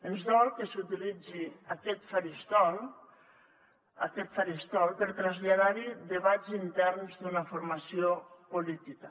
ens dol que s’utilitzi aquest faristol aquest faristol per traslladar hi debats interns d’una formació política